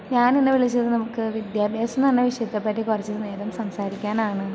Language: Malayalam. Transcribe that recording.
ഞാനിന്ന് വിളിച്ചത് നമുക്ക് വിദ്യാഭ്യാസം നു പറയുന്ന വിഷയത്തെ പറ്റി കുറച്ചു നേരം സംസാരിക്കാനാണ്.